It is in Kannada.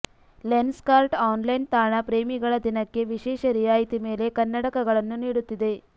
ಲೆನ್ಸ್ಕಾರ್ಟ್ ಆನ್ಲೈನ್ ತಾಣ ಪ್ರೇಮಿಗಳ ದಿನಕ್ಕೆ ವಿಶೇಷ ರಿಯಾಯಿತಿ ಮೇಲೆ ಕನ್ನಡಕಗಳನ್ನು ನೀಡುತ್ತಿದೆ